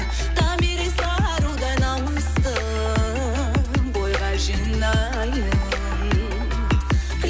томирис арудай намысты бойға жинайын